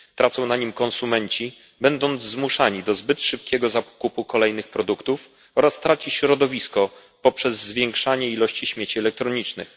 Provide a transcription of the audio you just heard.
Tracą na nim konsumenci, którzy są zmuszani do zbyt szybkiego zakupu kolejnych produktów, oraz traci środowisko poprzez zwiększanie ilości śmieci elektronicznych.